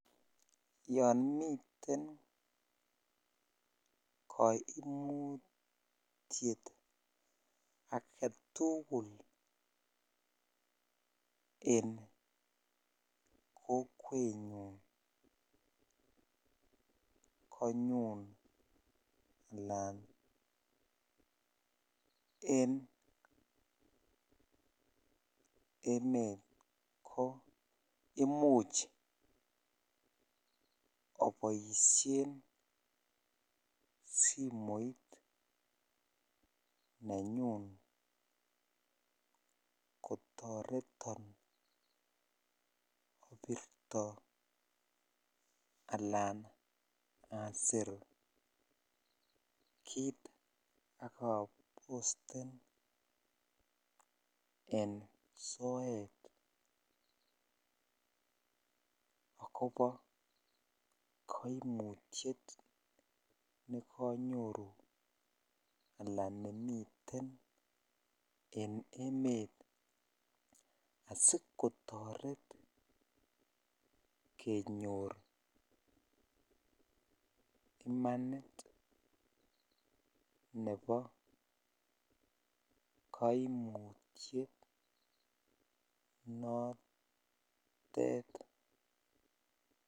Yoon miten koimutiet aketukul en kokwenyun konyun alaan en emet ko imuch oboishen simoit nenyun kotoreton obirto alaan asir kiit ak abosten en soet akobo koimutiet nekonyoru alaan nemiten en emet asikotoret kenyor imanit nebo kkoimutiet notet.